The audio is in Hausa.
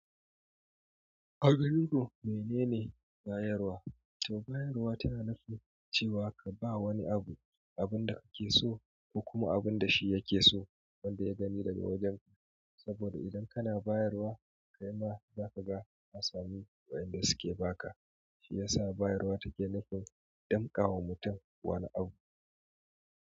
A ganin ku menene bayarwa? To bayarwa tana nufin cewa ka ba wani abu, abun da kake so ko kuma abun da shi yake so wanda ya gani daga wajenka. Saboda idan kana bayarwa kai ma zaka ga ka samu waƴanda suke ba ka, shi yasa bayarwa take nufin damƙawa mutum wani abu.